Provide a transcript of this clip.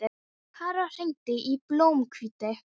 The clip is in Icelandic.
Karol, hringdu í Blómhvíti.